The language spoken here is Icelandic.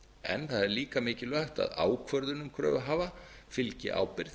en það er líka mikilvægt að ákvörðunum kröfuhafa fylgi ábyrgð